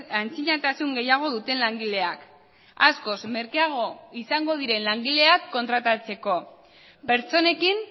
antzinatasun gehiago duten langileak askoz merkeago izango diren langileak kontratatzeko pertsonekin